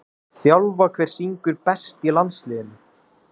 þjálfa Hver syngur best í landsliðinu?